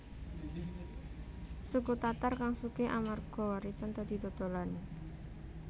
Suku Tatar kang sugih amarga warisan dadi dodolan